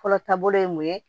Fɔlɔ taabolo ye mun ye